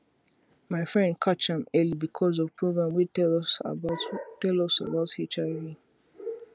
my friend catch am early because of program wey tell us about tell us about hiv